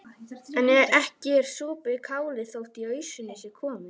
En ekki er sopið kálið þótt í ausuna sé komið.